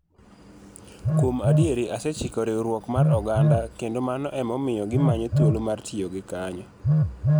Kuom adier asechiko riwruok mar oganda kendo mano emomiyo gimanyo thuolo mar tiyo gi kanyo.